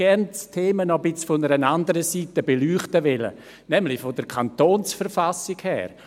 Gerne hätte ich das Thema noch von einer etwas anderen Seite beleuchtet, nämlich von der Verfassung des Kantons Bern (KV) her.